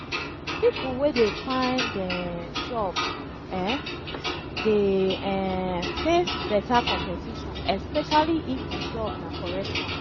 pipo wey de find um job um de um face better competition esepecially if di job na correct one